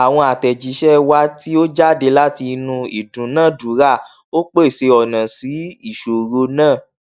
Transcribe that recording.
àwọn àtẹjíṣẹ wà tí ó jáde láti inú ìdúnàádúrà ó pèsè ọnà sí ìṣòro náà